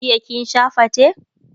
jiya kin Sha fate?